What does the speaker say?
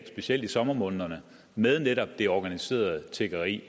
specielt i sommermånederne med netop det organiserede tiggeri